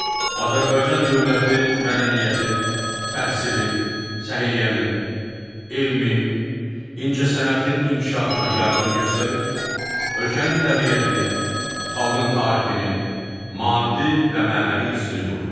Azərbaycan dövləti mədəniyyətin, təhsilin, səhiyyənin, elmin, incəsənətin inkişafına yardım göstərir, ölkənin təbiətini, xalqın tarixini, maddi və mənəvi irsini qoruyur.